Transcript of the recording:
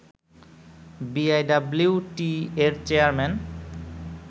বিআইডব্লিউটিএ-র chairman